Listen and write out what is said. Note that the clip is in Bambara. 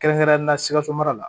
Kɛrɛnkɛrɛnnenya sikaso mara la